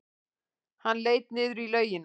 Hann leit niður í laugina.